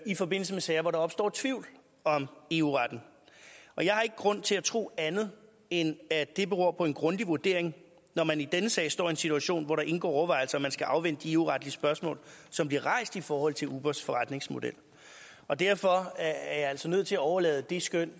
i forbindelse med sager hvor der opstår tvivl om eu retten og jeg har ikke grund til at tro andet end at det beror på en grundig vurdering når man i denne sag står i en situation hvor der indgår overvejelser om man skal afvente de eu retlige spørgsmål som bliver rejst i forhold til ubers forretningsmodel og derfor er jeg altså nødt til at overlade det skøn